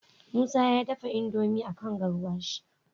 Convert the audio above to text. musa ya dafa indomie akan garwashi